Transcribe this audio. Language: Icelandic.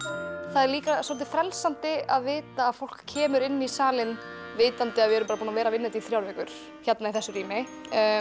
það er líka svolítið frelsandi að vita að fólk kemur inn í salinn vitandi að við erum bara búin að vera að vinna þetta í þrjár vikur hérna í þessu rými